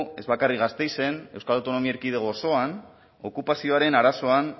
ez bakarrik gasteizen euskal autonomia erkidego osoan okupazioaren arazoan